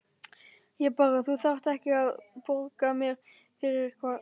Ég bara. Þú þarft ekkert að borga mér fyrir það.